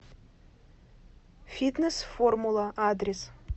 фитнес формула адрес